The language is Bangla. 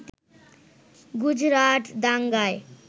গুজরাট দাঙ্গায়